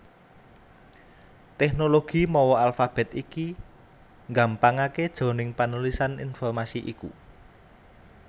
Tèknologi mawa alfabèt iki nggampangaké jroning panulisan informasi iku